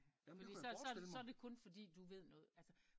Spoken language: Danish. Så så så er det kun fordi du ved noget altså